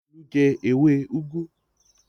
Olú jẹ ewé úgú?